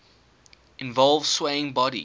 involve swaying body